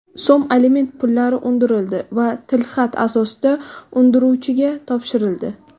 so‘m aliment pullari undirildi va tilxat asosida undiruvchiga topshirildi.